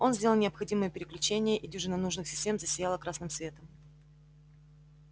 он сделал необходимые переключения и дюжина нужных систем засияла красным светом